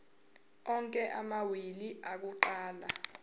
onke amawili akuqala